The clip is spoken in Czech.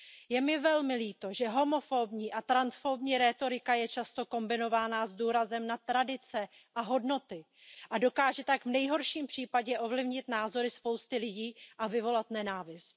Je mi velmi líto, že homofobní a transfobní rétorika je často kombinována s důrazem na tradice a hodnoty a dokáže tak v nejhorším případě ovlivnit názory spousty lidí a vyvolat nenávist.